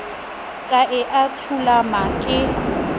ka e a thulama ke